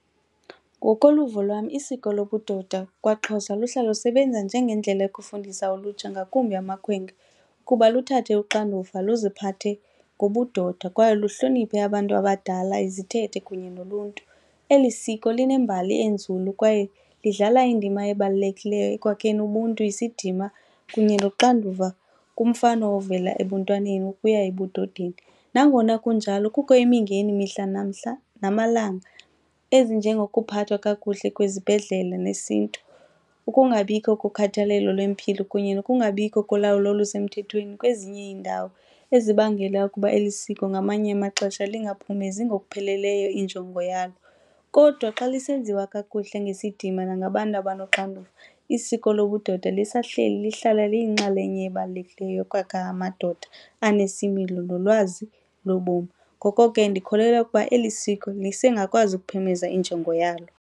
Ngokoluvo lwam isiko lobudoda kwaXhosa luhlala lusebenza njengendlela yokufundisa ulutsha ngakumbi amakhwenkwe ukuba luthathe uxanduva luziphathe ngobudoda kwaye lihloniphe abantu abadala, izithethe kunye noluntu. Eli siko linembali enzulu kwaye lidlala indima ebalulekileyo ekwakheni ubuntu, isidima kunye noxanduva kumfana ovela ebuntwaneni ukuya ebudodeni. Nangona kunjalo kukho imingeni mihla namhla namalanga ezinjengokuphathwa kakuhle kwezibhedlele nesiNtu, ukungabikho kukhathalelo lwempilo kunye nokungabikho kolawula olusemthethweni kwezinye iindawo ezibangela ukuba eli siko ngamanye amaxesha lingaphumezi ngokupheleleyo injongo yalo. Kodwa xa lusenziwa kakuhle ngesidima nangabantu abanoxanduva, isiko lobudoda lisehleli lihlala liyinxalenye ebalulekileyo yokwakhe amadoda anesimilo nolwazi lobomu. Ngoko ke ndikholelwa ukuba eli siko lisengakwazi ukuphumeza injongo yalo.